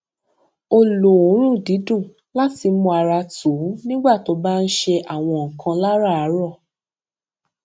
ó lo òórùn dídùn láti mú ara tù nígbà tó bá ń ṣe àwọn nǹkan láràárọ